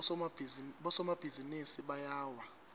bosomabhizinisi bayawa